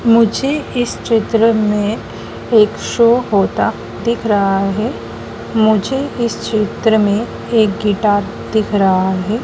मुझे इस चित्र में एक शो होता दिख रहा है। मुझे इस चित्र में एक गिटार दिख रहा है।